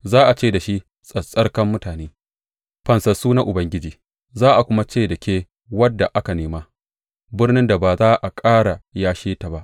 Za a ce da shi Tsattsarkar Mutane, Fansassu na Ubangiji; za a kuma ce da ke Wadda Aka Nema Birnin da Ba Za a Ƙara Yashe ta ba.